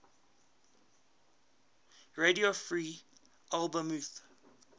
radio free albemuth